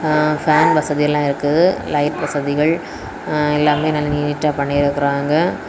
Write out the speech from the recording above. ஆ fan வசதி எல்லா இருக்குது லைட் வசதிகள் ஆ எல்லாமே நல்ல நீட்டா பண்ணிருக்குறாங்க.